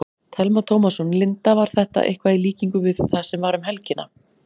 Telma Tómasson: Linda, var þetta eitthvað í líkingu við það sem var um helgina?